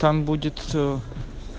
там будет ээ